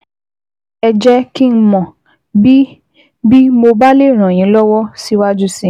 Ẹ jẹ́ kí n mọ̀ bí bí mo bá lè ràn yín lọ́wọ́ síwájú sí i